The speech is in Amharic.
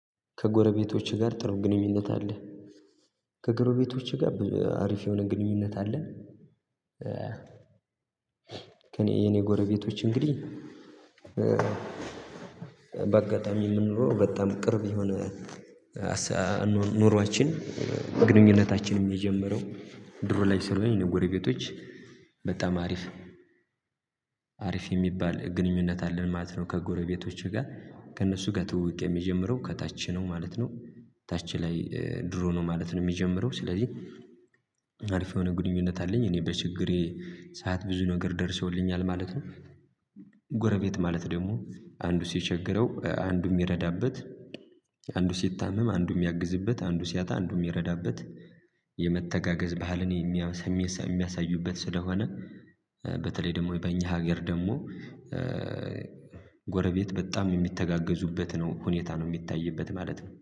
ከጎረቤቶቼ ጋር ጥሩ ግንኙነት አለ። ከጎረቤቶቼ ጋር አሪፍ የሆነ ግንኙነት አለ። ከኔ የኔ ጎረቤቶች እንግዲህ የምንኖረው በጣም ቅርብ የሆነ ኑሯችን ግንኙነታችንም የጀመረው ድሮ ላይ ስለሆነ የኔ ጎረቤቶች በጣም አሪፍ አሪፍ የሚባል ግንኙነት አለን ማለት ነው። ከጎረቤቶቼ ጋር ከእነሱ ጋር ትውውቅ የሚጀምረው ከታች ነው ማለት ነው ታች ላይ ድሮ ነው ማለት ነው። የሚጀምረው ስለዚህ አሪፍ የሆነ ግንኙነት አለኝ እኔ በችግሬ ሰዓት ብዙ ነገር ደርሰውልኛል ማለት ነው። ጎረቤት ማለት ደግሞ አንዱ ሲቸገረው አንዱ የሚረዳበት አንዱ ሲታመም አንዱ የሚያግዝበት አንዱ ሲያጣ አንዱ የሚረዳበት። ባህልን የሚያሳዩበት ስለሆነ በተለይ ደግሞ በእኛ ሀገር ደግሞ ጎረቤት በጣም የሚተጋገዙበት ነው ሁኔታ ነው የሚታይበት ማለት ነው